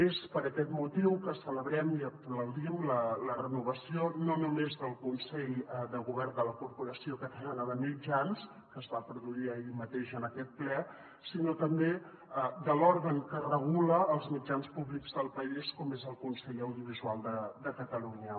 és per aquest motiu que celebrem i aplaudim la renovació no només del consell de govern de la corporació catalana de mitjans audiovisuals que es va produir ahir mateix en aquest ple sinó també de l’òrgan que regula els mitjans públics del país com és el consell audiovisual de catalunya